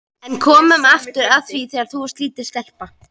En komum aftur að því þegar þú varst lítil stelpa.